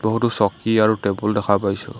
বহুতো চকী আৰু টেবুল দেখা পাইছোঁ।